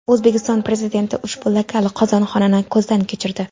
O‘zbekiston Prezidenti ushbu lokal qozonxonani ko‘zdan kechirdi.